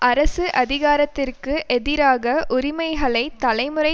அரசு அதிகாரத்திற்கு எதிராக உரிமைகளை தலைமுறை